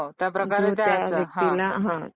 हो, त्याप्रकारे त्या